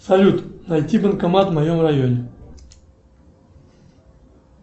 салют найти банкомат в моем районе